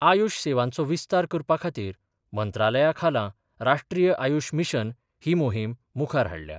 आयुश सेवांचो विस्तार करपाखातीर मंत्रालयाखाला राश्ट्रीय आयुश मिशन ही मोहीम मुखार हाडल्या.